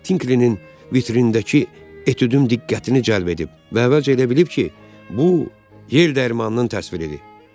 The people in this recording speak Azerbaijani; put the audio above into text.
Pinkninin vitrindəki etüdüm diqqətini cəlb edib və əvvəlcə elə bilib ki, bu yer dərmanının təsviridir.